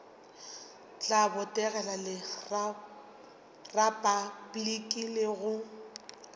tla botegela repabliki le go